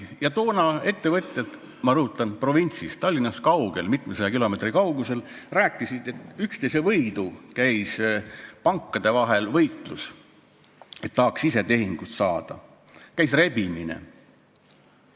Toona ettevõtjad, ma rõhutan, provintsis, Tallinnast kaugel, mitmesaja kilomeetri kaugusel, rääkisid, et pankade vahel käis võitlus, kõik tahtsid ise tehingut saada, käis rebimine.